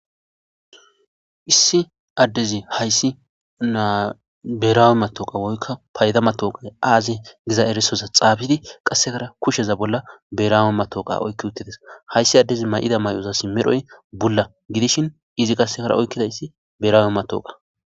Issi addezi hayssi biherawe maththooqiya woykko payda maththooqee aazee giza erissotha xaafidi qassikkara kusheza bolla biherawe maththooqiya oykki uththi des;hayssi addezi may7ida mayozassi medhoy bulla gidishin izi hara oyqqidayssi biherawe maththooqaa.